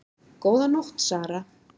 Góða nótt Sara